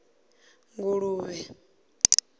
nguluvhe